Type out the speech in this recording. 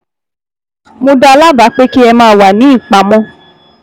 Mo dá a lábàá pé kí ẹ máa wà ní ìpamọ́